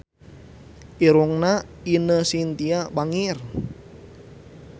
Irungna Ine Shintya bangir